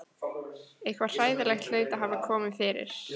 Eitthvað hræðilegt hlaut að hafa komið fyrir.